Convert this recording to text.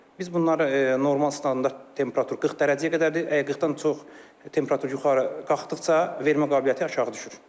Biz bunları normal standart temperatur 40 dərəcəyə qədərdir, əgər 40-dan çox temperatur yuxarı qalxdıqca vermə qabiliyyəti aşağı düşür.